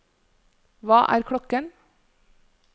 hva er klokken